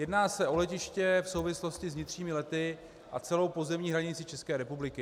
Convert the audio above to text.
Jedná se o letiště v souvislosti s vnitřními lety a celou pozemní hranici České republiky.